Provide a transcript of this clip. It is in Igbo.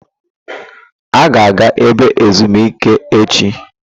A ga-aga ebe ezumike echi?